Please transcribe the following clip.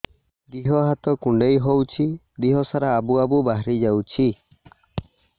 ଦିହ ହାତ କୁଣ୍ଡେଇ ହଉଛି ଦିହ ସାରା ଆବୁ ଆବୁ ବାହାରି ଯାଉଛି